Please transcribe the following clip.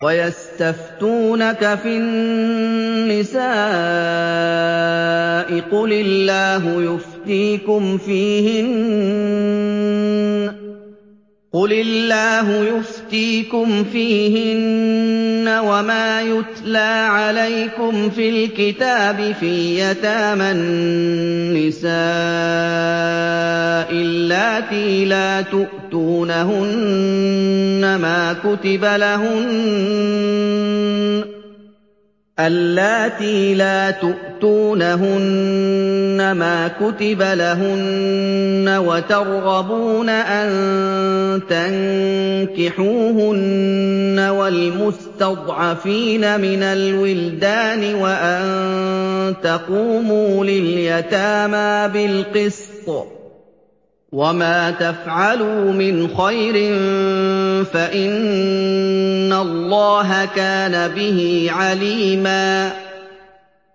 وَيَسْتَفْتُونَكَ فِي النِّسَاءِ ۖ قُلِ اللَّهُ يُفْتِيكُمْ فِيهِنَّ وَمَا يُتْلَىٰ عَلَيْكُمْ فِي الْكِتَابِ فِي يَتَامَى النِّسَاءِ اللَّاتِي لَا تُؤْتُونَهُنَّ مَا كُتِبَ لَهُنَّ وَتَرْغَبُونَ أَن تَنكِحُوهُنَّ وَالْمُسْتَضْعَفِينَ مِنَ الْوِلْدَانِ وَأَن تَقُومُوا لِلْيَتَامَىٰ بِالْقِسْطِ ۚ وَمَا تَفْعَلُوا مِنْ خَيْرٍ فَإِنَّ اللَّهَ كَانَ بِهِ عَلِيمًا